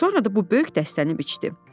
Sonra da bu böyük dəstəni biçdi.